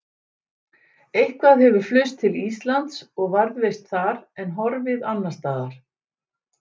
Eitthvað hefur flust til Íslands og varðveist þar en horfið annars staðar.